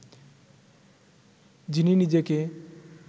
যিনি নিজেকে